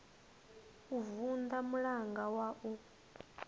u vunḓa mulanga wa u